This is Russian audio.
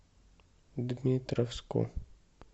дмитровску